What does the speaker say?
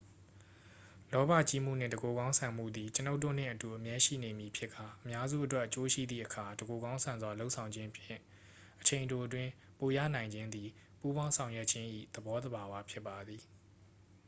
လောဘကြီးမှုနှင့် တစ်ကိုယ်ကောင်းဆန်မှုသည် ကျွန်ုပ်တို့နှင့်အတူ အမြဲရှိနေမည်ဖြစ်ကာ အများစုအတွက်အကျိုးရှိသည့်အခါ တစ်ကိုယ်ကောင်းဆန်စွာလုပ်ဆောင်ခြင်းဖြင့် အချိန်တိုအတွင်း ပိုရနိုင်ခြင်းသည် ပူးပေါင်းဆောင်ရွက်ခြင်း၏သဘောသဘာဝဖြစ်ပါသည်